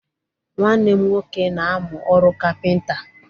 Nwanne m nwoke na-amụ ọrụ kapịnta.